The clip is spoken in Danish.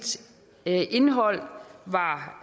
indhold var